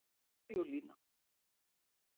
Sigurlína